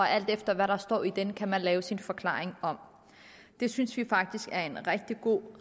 alt efter hvad der står i den kan lave sin forklaring om det synes vi faktisk er en rigtig god